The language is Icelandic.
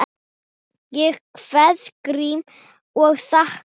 Ég kveð Grím og þakka.